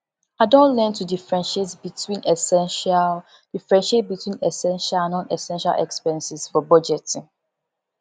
i don learn to differentiate between essential differentiate between essential and nonessential expenses for budgeting